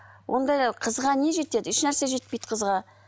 ондай қызға не жетеді ешнәрсе жетпейді қызға